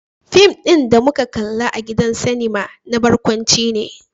Fim din da muka kalla a gidan sinima na barkwanci ne.